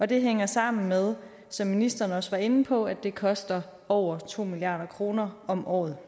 det hænger sammen med som ministeren også var inde på at det koster over to milliard kroner om året